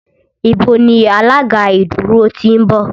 Ibo ni alága ìdúró ti ń bọ̀?